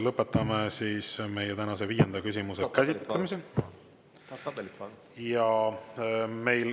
Lõpetame tänase viienda küsimuse käsitlemise.